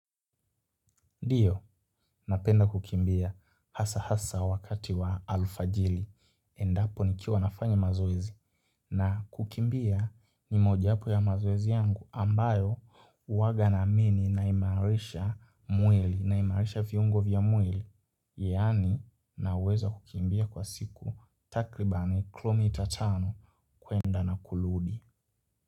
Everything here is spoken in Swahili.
Ndiyo, napenda kukimbia hasa hasa wakati wa alfajiri. Endapo nikiwa nafanya mazoezi na kukimbia ni mojawapo ya mazoezi yangu ambayo huwaga naamini naimaarisha mwili, naimaarisha viungo vya mwili. Yaani naweza kukimbia kwa siku takribani kilomita tano kuenda na kurudi.